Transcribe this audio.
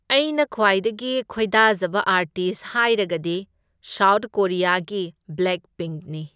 ꯑꯩꯅ ꯈ꯭ꯋꯥꯏꯗꯒꯤ ꯈꯣꯏꯗꯥꯖꯕ ꯑꯥꯔꯇꯤꯁ ꯍꯥꯏꯔꯒꯗꯤ ꯁꯥꯎꯠ ꯀꯣꯔꯤꯌꯥꯒꯤ ꯕ꯭ꯂꯦꯛ ꯄꯤꯡꯛꯅꯤ꯫